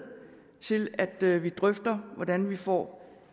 til at vi drøfter hvordan vi får